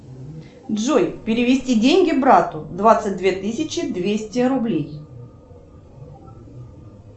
джой перевести деньги брату двадцать две тысячи двести рублей